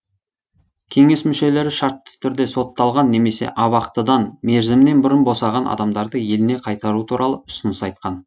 кеңес мүшелері шартты түрде сотталған немесе абақтыдан мерзімінен бұрын босаған адамдарды еліне қайтару туралы ұсыныс айтқан